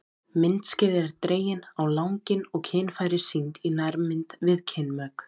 Myndskeið eru dregin á langinn og kynfæri sýnd í nærmynd við kynmök.